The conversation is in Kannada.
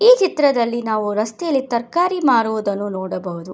ಈ ಚಿತ್ರದಲ್ಲಿ ನಾವು ರಸ್ತೆಯಲ್ಲಿ ತರಕಾರಿ ಮಾಡುವುದನ್ನು ನೋಡಬಹುದು.